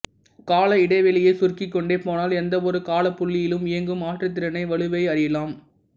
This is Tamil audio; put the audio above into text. கால இடைவெளியைச் சுருக்கிக்கொண்டே போனால் எந்த ஒரு காலப்புள்ளியிலும் இயங்கும் ஆற்றுதிறனை வலுவை அறியலாம்